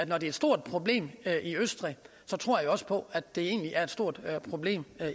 er et stort problem i østrig så tror jeg også på at det egentlig er et stort problem